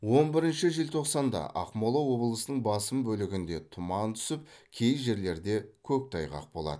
он бірінші желтоқсанда ақмола облысының басым бөлігінде тұман түсіп кей жерлерде көктайғақ болады